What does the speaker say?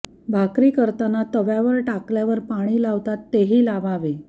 भाकरी करतांना तव्यावर टाकल्या वर पाणी लावतात तेही लावावे